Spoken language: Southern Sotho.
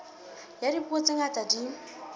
ya dipuo tse ngata di